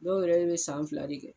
Dɔw yɛrɛ be san fila de kɛ